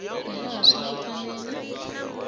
hi laha swi nga fanela